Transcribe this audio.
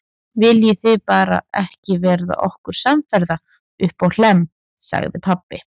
Viljið þið bara ekki verða okkur samferða uppá Hlemm, sagði pabbi.